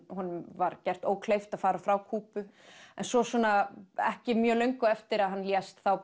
honum var gert ókleift að fara frá Kúbu en svo ekki mjög löngu eftir að hann lést